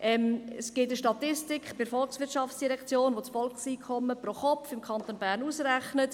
Es gibt bei der VOL eine Statistik, welche das Volkseinkommen pro Kopf im Kanton Bern berechnet.